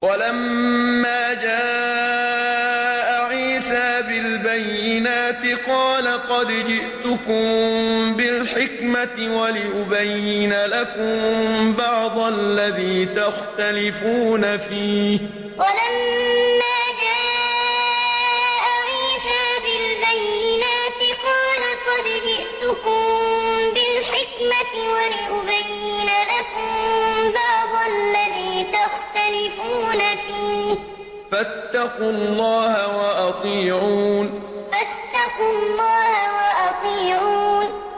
وَلَمَّا جَاءَ عِيسَىٰ بِالْبَيِّنَاتِ قَالَ قَدْ جِئْتُكُم بِالْحِكْمَةِ وَلِأُبَيِّنَ لَكُم بَعْضَ الَّذِي تَخْتَلِفُونَ فِيهِ ۖ فَاتَّقُوا اللَّهَ وَأَطِيعُونِ وَلَمَّا جَاءَ عِيسَىٰ بِالْبَيِّنَاتِ قَالَ قَدْ جِئْتُكُم بِالْحِكْمَةِ وَلِأُبَيِّنَ لَكُم بَعْضَ الَّذِي تَخْتَلِفُونَ فِيهِ ۖ فَاتَّقُوا اللَّهَ وَأَطِيعُونِ